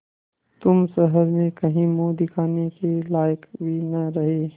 तुम शहर में कहीं मुँह दिखाने के लायक भी न रहे